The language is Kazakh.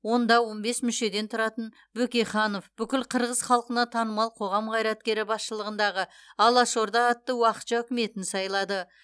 онда он бес мүшеден тұратын бөкейханов бүкіл қырғыз халқына танымал қоғам қайраткері басшылығындағы алашорда атты уақытша үкіметін сайлады